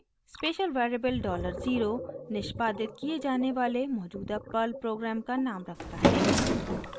special variable dollar zero $0 निष्पादित किये जाने वाले मौजूदा पर्ल प्रोग्राम का नाम रखता है